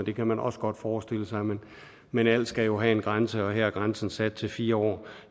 det kan man også godt forestille sig men alt skal jo have en grænse og her er grænsen sat til fire år